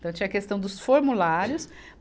Então tinha a questão dos formulários.